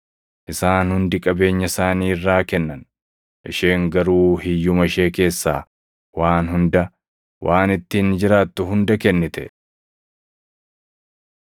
Isaan hundi qabeenya isaanii irraa kennan; isheen garuu hiyyuma ishee keessaa waan hunda, waan ittiin jiraattu hunda kennite.”